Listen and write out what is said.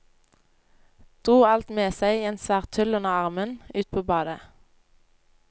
Dro alt med seg i en svær tull under armen, ut på badet.